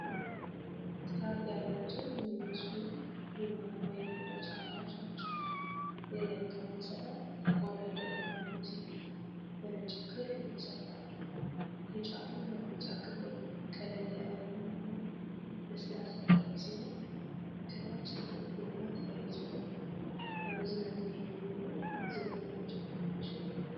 ጥራት ያላቸው የሚመስሉ ቡናማ የቆዳ ጫማዎች ናቸው። የላይኛው ማሰሪያ ጠቆር ያለ ቡናማ ሲሆን በነጭ ክር የተሰፋ ነው። የጫማው መርገጫ ክፍል ቀለል ያለ ቡናማ፣ ለስላሳ ጨርቅ ሲሆን፣ ከታች ጥቁር ጐማ ተያይዟል። ለመዝናኛ የሚውሉ ዘመናዊ ጫማዎች።